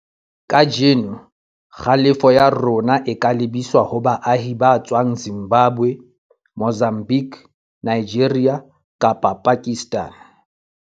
Kajeno, kgalefoya rona o ka lebiswa ho baahi ba tswang Zimbabwe, Mozambique, Nigeria kapa Pakistan.